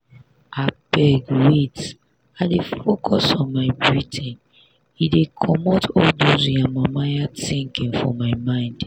abeg wait i dey focus on my breathing e dey comot all dos yamamaya thinking for my mind.